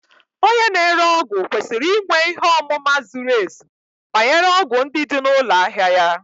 Onye na-ere ọgwụ kwesịrị inwe ihe ọmụma zuru ezu banyere ọgwụ ndị dị na ụlọ ahịa ya